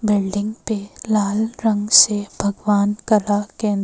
building पे लाल रंग से भगवान का --